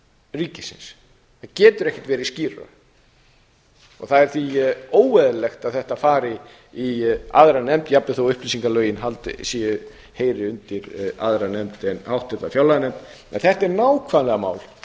ríkisins það getur ekkert verið skýrara og það er því óeðlilegt að þetta fari í aðra nefnd jafnvel þó upplýsingalögin heyri undir aðra nefnd en háttvirta fjárlaganefnd en þetta er nákvæmlega mál